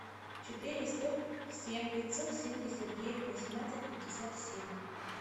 четыреста семь пятьсот семьдесят девять восемнадцать пятьдесят семь